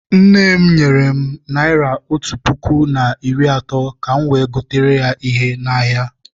Nne m nyere m naịra otú puku na iri atọ ka m wee gotere ya ihe n'ahịa.